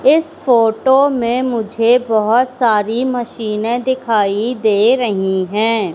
इस फोटो में मुझे बहोत सारी मशीने दिखाई दे रही है।